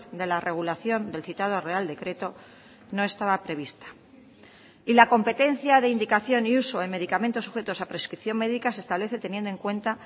de la regulación del citado real decreto no estaba prevista y la competencia de indicación y uso en medicamentos sujetos a prescripción médica se establece teniendo en cuenta